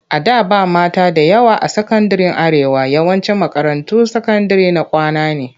A da ba mata da yawa a sakandiren Arewa. yawancin makarantun sakandire na kwana ne.